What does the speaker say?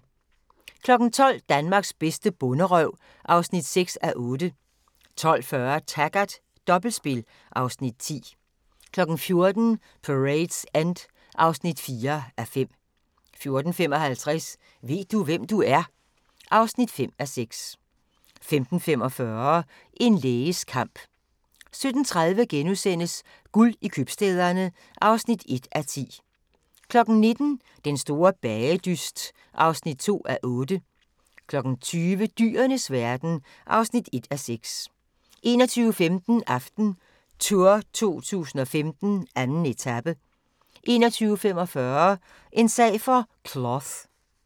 12:00: Danmarks bedste bonderøv (6:8) 12:40: Taggart: Dobbeltspil (Afs. 10) 14:00: Parade's End (3:5) 14:55: Ved du, hvem du er? (5:6) 15:45: En læges kamp 17:30: Guld i købstæderne (1:10)* 19:00: Den store bagedyst (2:8) 20:00: Dyrenes verden (1:6) 21:15: AftenTour 2015: 2. etape 21:45: En sag for Cloth